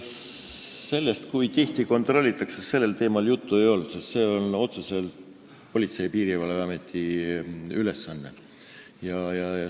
Sellest, kui tihti kontrollitakse, juttu ei olnud, sest see on otseselt Politsei- ja Piirivalveameti ülesanne.